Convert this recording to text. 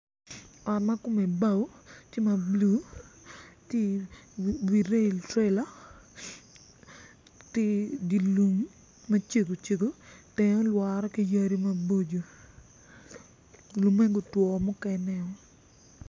Ot ma kome bao tye ma blu tye iwi rail trela tye idye lum macego cego tenge olwore ki yadi maboco lumme gutwo mukeneo.